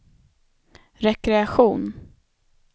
rekreation